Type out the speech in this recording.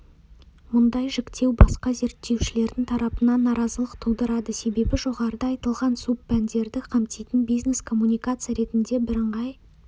мұндай жіктеу басқа зерттеушілердің тарапынан наразылық тудырады себебі жоғарыда айтылған субпәндерді қамтитын бизнес-коммуникация ретіндегі бірыңғай